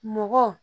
Mɔgɔ